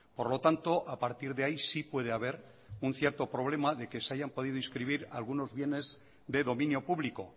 por lo tanto a partir de ahí sí puede haber un cierto problema de que se hayan podido inscribir algunos bienes de dominio público